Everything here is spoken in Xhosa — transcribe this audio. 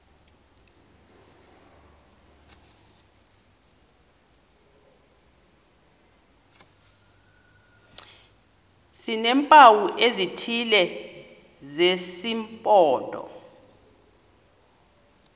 sineempawu ezithile zesimpondo